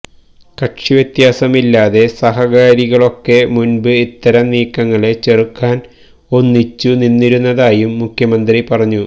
കക്ഷി വ്യത്യാസമില്ലാതെ സഹകാരികളൊക്കെ മുന്പ് ഇത്തരം നീക്കങ്ങളെ ചെറുക്കാന് ഒന്നിച്ചു നിന്നിരുന്നതായും മുഖ്യമന്ത്രി പറഞ്ഞു